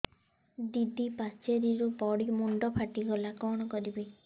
ଦିଦି ପାଚେରୀରୁ ପଡି ମୁଣ୍ଡ ଫାଟିଗଲା କଣ କରିବି